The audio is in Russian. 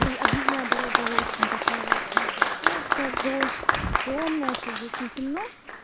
объездная дорога очень такая может быть скользкая в дождь тёмная сейчас же очень темно